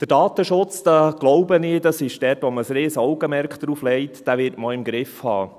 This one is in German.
Den Datenschutz, glaube ich – das ist dort, wo man ein Riesen-Augenmerk drauflegt –, wird man auch im Griff haben.